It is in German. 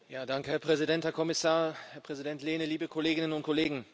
Herr Präsident, Herr Kommissar, Herr Präsident Lehne, liebe Kolleginnen und Kollegen!